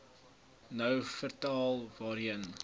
nou vertel waarheen